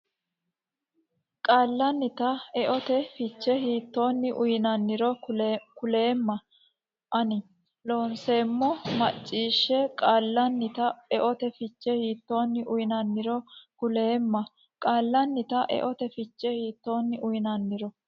qaallannita eote fiche hiittoonni uynanniro kuleemma ona Loonseemmo macciishshe qaallannita eote fiche hiittoonni uynanniro kuleemma qaallannita eote fiche hiittoonni uynanniro.